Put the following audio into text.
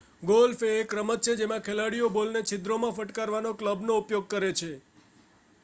golf એ એક રમત છે જેમાં ખેલાડીઓ બોલને છિદ્રોમાં ફટકારવા ક્લબનો ઉપયોગ કરે છે